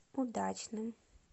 удачным